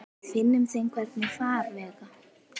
Við finnum þeim hvergi farveg.